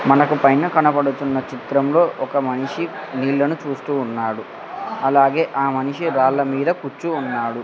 మనకు పైన కనపడుతున్న చిత్రం లో ఒక మనిషి నీళ్ళను చూస్తూ ఉన్నాడు అలాగే ఆ మనిషి వాళ్ళమీద కుచ్చి ఉన్నాడు.